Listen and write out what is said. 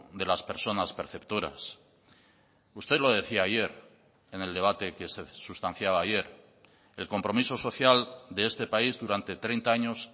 de las personas perceptoras usted lo decía ayer en el debate que se sustanciaba ayer el compromiso social de este país durante treinta años